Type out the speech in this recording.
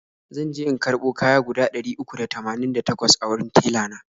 zanje in karbo kaya guda ɗari uku da tamanin da takwas a wurin tella na.